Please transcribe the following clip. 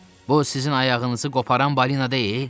Bu sizin ayağınızı qoparan balina deyil?